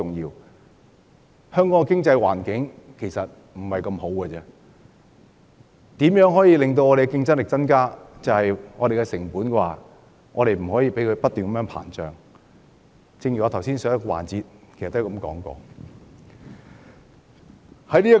現時香港的經濟環境並不太好，所以要提高競爭力，便不可以讓成本不斷上升，這點我在上一環節已經提過。